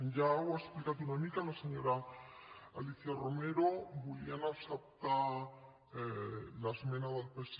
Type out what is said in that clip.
ja ho ha explicat una mica la senyora alicia romero volíem acceptar l’esmena del psc